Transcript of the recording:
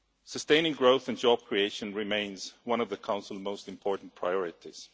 Sustaining growth and job creation remains one of the Council's most important priorities.